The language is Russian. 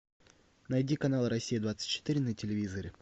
найди канал россия двадцать четыре на телевизоре